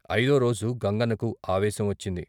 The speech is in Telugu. ఐదోరోజు గంగన్నకు ఆవేశం వచ్చింది.